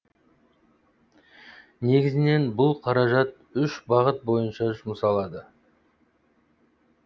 негізінен бұл қаражат үш бағыт бойынша жұмсалады